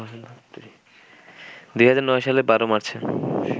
২০০৯ সালের ১২ মার্চ়ে